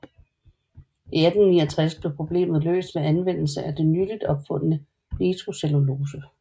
I 1869 blev problemet løst ved anvendelse af det nyligt opfundne nitrocellulose